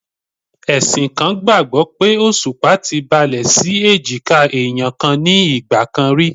Ẹ̀sìn kan gbàgbó pé Òṣùpá ti balẹ̀ sí èjìká ẹ̀yàn kan ní ìgbà kan rí.